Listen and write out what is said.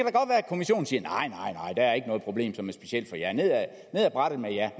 er ikke noget problem som er specielt for jer ned ad brættet med jer